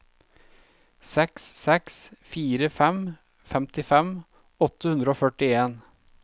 seks seks fire fem femtifem åtte hundre og førtien